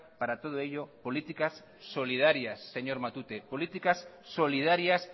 para todo ello políticas solidarias señor matute políticas solidarias